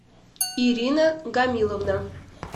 ирина гамиловна